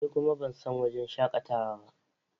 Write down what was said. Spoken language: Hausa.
Ni kuma ban san wurin shakatawa ba.